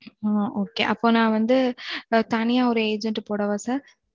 அ, okay, okay அப்போ நான் வந்து, அ, தனியா ஒரு agent போடவா sir